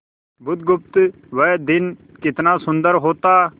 बुधगुप्त वह दिन कितना सुंदर होता